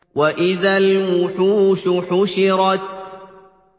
وَإِذَا الْوُحُوشُ حُشِرَتْ